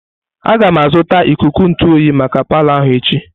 Aga m azụta ikuku ntụ oyi maka palo ahụ echi.